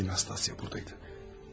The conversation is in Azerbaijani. İyi ki Nastasya buradaydı.